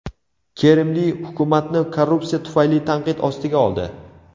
Kerimli hukumatni korrupsiya tufayli tanqid ostiga oldi.